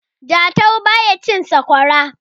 jatau ba ya cin sakwara